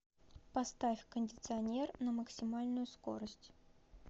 поставь кондиционер на максимальную скорость